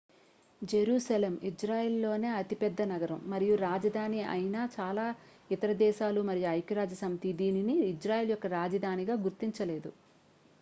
Jerusalem ఇజ్రాయెల్లోనే అతిపెద్ద నగరం మరియు రాజధాని ఐనా చాలా ఇతర దేశాలు మరియు ఐక్యరాజ్యసమితి దీనిని ఇజ్రాయెల్ యొక్క రాజధానిగా గుర్తించలేదు